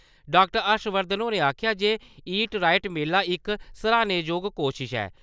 Doctor Harshvardhan होरें आखेआ जे 'ईट राईट' मेला इक सराह्नेजोग कोशश ऐ ।